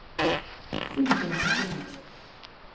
Sissel Helgeland